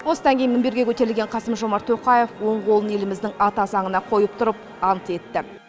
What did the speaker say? осыдан кейін мінберге көтерілген қасым жомарт тоқаев оң қолын еліміздің ата заңына қойып тұрып ант етті